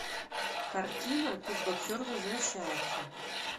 картина кикбоксер возвращается